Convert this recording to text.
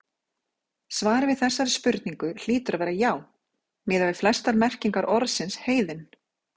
Svarið við þessari spurningu hlýtur að vera já, miðað við flestar merkingar orðsins heiðinn.